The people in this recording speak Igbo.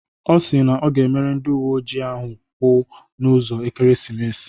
Ọ si na ọ ga-emere ndị uwe ojii ahụ kwu n'ụzọ ekeresimesi.